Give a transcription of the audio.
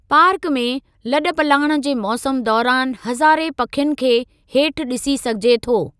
Park में, लॾ पलाण जे मौसम दौरानि हज़ारें पखियुनि खे हेठि ॾिसी सघिजे थो।